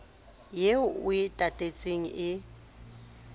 eo o e tatetseng e